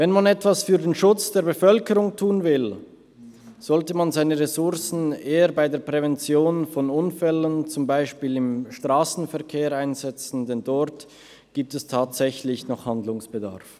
Wenn man etwas für den Schutz der Bevölkerung tun will, sollte man seine Ressourcen eher bei der Prävention von Unfällen – beispielsweise im Strassenverkehr – einsetzen, denn dort gibt es tatsächlich noch Handlungsbedarf.